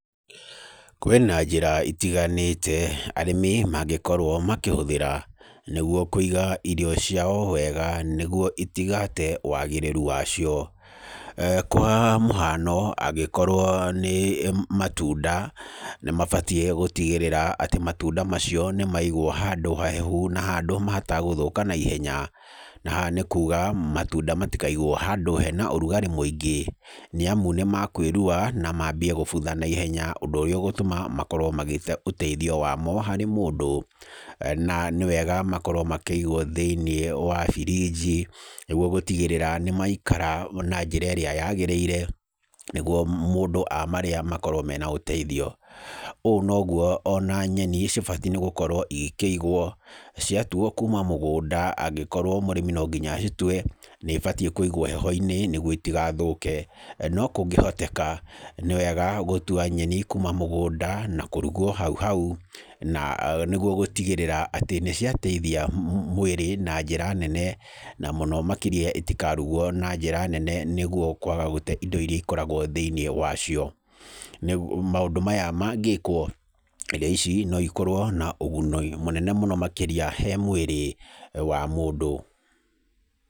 Kwĩna njĩra itiganĩte arĩmi mangĩkorwo makĩhũthĩra nĩguo kũiga irio ciao wega nĩguo itigate wagĩrĩru wacio. Kwa mũhano, angĩkorwo nĩ matunda nĩmabatiĩ gũtigĩrĩra atĩ matunda macio nĩmaigwo handũ hahehu na handũ mategũthũka naihenya. Na haha nĩ kuga matunda matikaigwo handũ hena ũrugarĩ mũingĩ nĩamu nĩmakwĩrua na mambie kũbutha naihenya, na ũndũ ũrĩa ũgũtũma makorwo magĩte ũteithio wamo harĩ mũndũ. Na nĩ wega makorwo makĩigwo thĩinĩ wa biriji nĩguo gũtigĩrĩra nĩmaikara na njĩra ĩrĩa yagĩrĩire nĩguo mũndũ amarĩa makorwo marĩ na ũteithio. Ũũ noguo ona nyeni ibataire gũkorwo igĩkĩigwo ciatuo kuma mũgũnda angĩkorwo mũrĩmi no nginya acitue nĩibatiĩ kũigwo heho-inĩ nĩguo itigathũke. No kũngĩhotekeka nĩwega gũtua nyeni kuma mũgũnda na kũrugwo hau hau nĩguo gũtigĩrĩra atĩ nĩciateithia mwĩrĩ na njĩra nene, na mũno makĩria itikarugwo na njĩra nene nĩguo itigate indo iria ikoragwo thĩinĩ wacio. Maũndũ maya mangĩkwo irio ici noikorwo na ũguni mũnene makĩria he mwĩrĩ wa mũndũ.